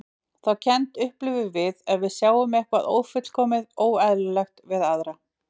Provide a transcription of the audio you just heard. Þá kennd upplifum við ef við sjáum eitthvað ófullkomið, óeðlilegt, við aðra.